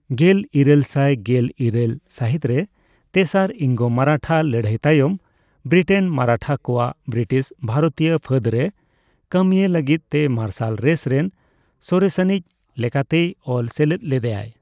ᱜᱮᱞᱤᱨᱟᱹᱞ ᱥᱟᱭ ᱜᱮᱞ ᱤᱨᱟᱹᱞ ᱥᱟᱹᱦᱤᱛ ᱨᱮ ᱛᱮᱥᱟᱨ ᱤᱝᱜᱚᱼᱢᱟᱨᱟᱴᱷᱟ ᱞᱟᱹᱲᱦᱟᱹᱭ ᱛᱟᱭᱚᱢ, ᱵᱨᱤᱴᱮᱱ ᱢᱟᱨᱟᱴᱷᱟ ᱠᱚᱣᱟᱜ ᱵᱨᱤᱴᱤᱥ ᱵᱷᱟᱨᱚᱛᱤᱭᱚᱹ ᱯᱷᱟᱹᱫ ᱨᱮ ᱠᱟᱹᱢᱤᱭ ᱞᱟᱹᱜᱤᱫ ᱛᱮ ᱢᱟᱨᱥᱟᱞ ᱨᱮᱥ ᱨᱮᱱ ᱥᱚᱨᱮᱥᱟᱹᱱᱤᱪ ᱞᱮᱠᱟᱛᱮᱭ ᱚᱞ ᱥᱮᱞᱮᱫ ᱞᱮᱫᱟᱭ ᱾